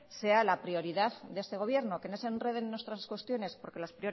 sea la prioridad de este gobierno que no se enreden en otras cuestiones porque las